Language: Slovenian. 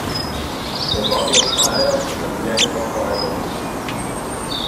Dolgovi ostajajo, za življenje pa skorajda nič.